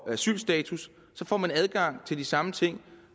asylstatus får adgang til de samme ting